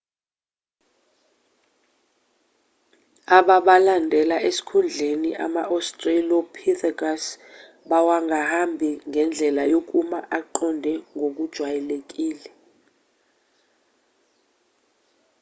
ababalandela esikhundleni ama-australopithecus bawangahambi ngendlela yokuma aqonde ngokujwayelekile